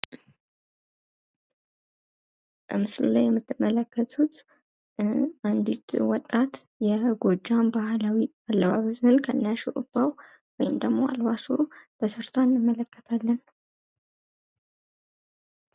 በምስሉ ላይ የምትመለከቱት አንዲት ወጣት የጎጃም ባህላዊ አለባበስን ከነ ሹሩባ ወይም ደግሞ አልባሱ ተሠርታ እንመለከታለን።